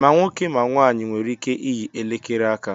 Ma nwoke ma nwanyị nwere ike iyi elekere aka